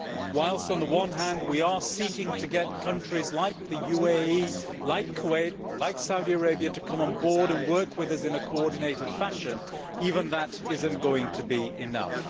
Whilst on the one hand we are seeking to get countries like the UEA, like Kuwait, like Saudi Arabia, to come on board and work with us in a coordinated fashion, even that is not going to be enough.